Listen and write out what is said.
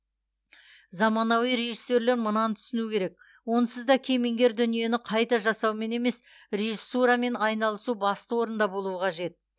заманауи режиссерлер мынаны түсінуі керек онсыз да кемеңгер дүниені қайта жасаумен емес режиссурамен айналасу басты орында болуы қажет